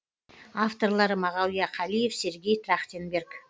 авторлары мағауия қалиев сергей трахтанберг